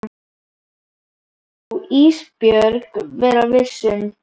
Það má Ísbjörg vera viss um.